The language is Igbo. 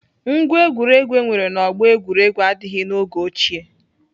Ngwá egwuregwu enwere na ọgbọ egwuregwu adịghị n'oge ochie.